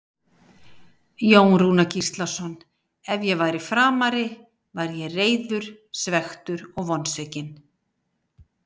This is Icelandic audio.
Jón Rúnar Gíslason Ef ég væri Framari væri ég reiður, svekktur og vonsvikinn.